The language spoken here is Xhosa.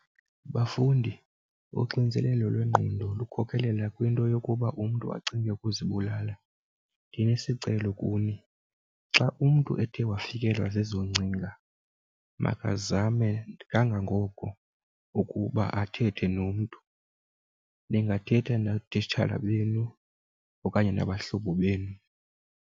Bafundi, uxinizelelo lwengqondo lukhokelela kwinto yokuba umntu acinge ukuzibulala. Ndinesicelo kuni, xa umntu ethe wafikelwa zezo ngcinga makazame kangangoko ukuba athethe nomntu. Ningathetha nootitshala benu okanye nabahlobo benu.